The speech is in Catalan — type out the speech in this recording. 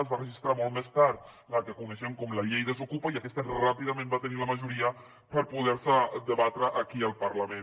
es va registrar molt més tard la que coneixem com la llei desokupa i aquesta ràpidament va tenir la majoria per poder se debatre aquí al parlament